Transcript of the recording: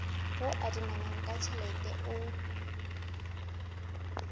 o adimanang ka tjhelete o